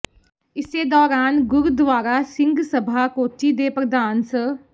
ਇਸੇ ਦੌਰਾਨ ਗੁਰਦੁਆਰਾ ਸਿੰਘ ਸਭਾ ਕੋਚੀ ਦੇ ਪ੍ਰਧਾਨ ਸ